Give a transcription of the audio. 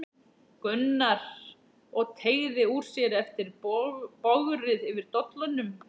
Gunnar og teygði úr sér eftir bogrið yfir dollunum.